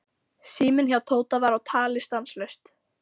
Síminn hjá Tóta var á tali stanslaust.